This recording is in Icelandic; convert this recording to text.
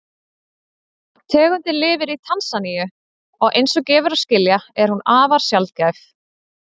Tegundin lifir í Tansaníu og eins og gefur að skilja er hún afar sjaldgæf.